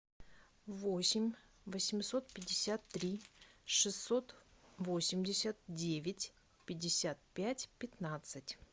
восемь восемьсот пятьдесят три шестьсот восемьдесят девять пятьдесят пять пятнадцать